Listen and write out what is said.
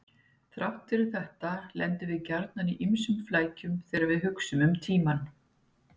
Þrátt fyrir þetta lendum við gjarnan í ýmsum flækjum þegar við hugsum um tímann.